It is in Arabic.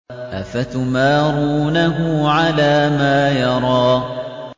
أَفَتُمَارُونَهُ عَلَىٰ مَا يَرَىٰ